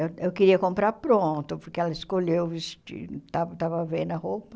Eu eu queria comprar pronto, porque ela escolheu o vestido, esta estava vendo a roupa.